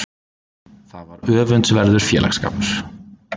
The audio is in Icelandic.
Það var öfundsverður félagsskapur.